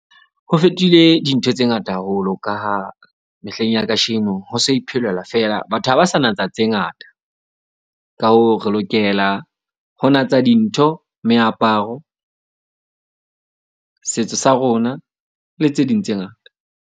Ho fetohile dintho tse ngata haholo ka ha mehleng ya kasheno ha so iphelelwa fela. Batho ha ba sa natsa tse ngata. Ka hoo, re lokela ho natsa dintho, meaparo, setso sa rona le tse ding tse ngata.